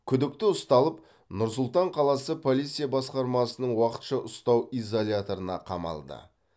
күдікті ұсталып нұр сұлтан қаласы полиция басқармасының уақытша ұстау изоляторына қамалды